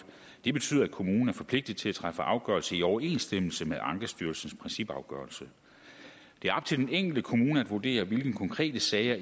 det betyder at kommunen er forpligtet til at træffe afgørelse i overensstemmelse med ankestyrelsens principafgørelse det er op til den enkelte kommune at vurdere hvilke konkrete sager